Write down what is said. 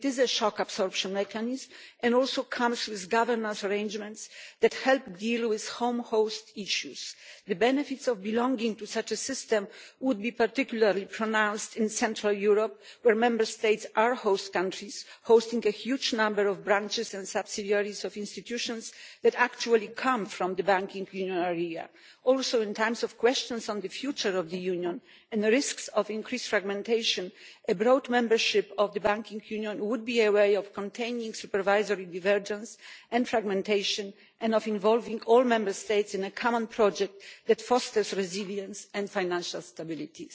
It is a shock absorption mechanism and also comes with governance arrangements that help deal with home host issues. The benefits of belonging to such a system would be particularly pronounced in Central Europe, where Member States are host countries, hosting a huge number of branches and subsidiaries of institutions that actually come from the Banking Union area. Also, at a time of questions on the future of the Union and the risks of increased fragmentation, a broad membership of the Banking Union would be a way of containing supervisory divergence and fragmentation and of involving all Member States in a common project that fosters resilience and financial stability.